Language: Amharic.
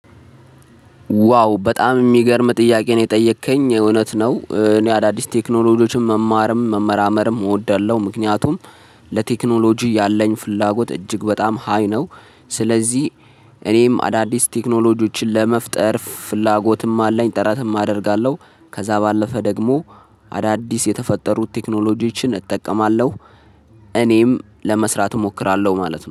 ዋው በጣም የሚገርም ጥያቄ ነው የጠየከኝ እውነት ነው። እኔ አዳዲስ ቴክኖሎጂዎችን መማርም መመራመርም እወዳለሁ ምክንያቱም ለቴክኖሎጂ ያለኝ ፍላጎት እጅግ በጣም ሃይ ነው። ስለዚህ እኔም አዳዲስ ቴክኖሎጂዎችን ለመፍጠር ፍላጎትም አለኝ ጥረትም አደርጋለሁ። ከዛ ባለፈ ደግሞ አዳዲስ የተፈጠሩት ቴክኖሎጂዎችን እጠቀማለሁ። እኔም ለመስራት እሞክራለሁ ማለት ነው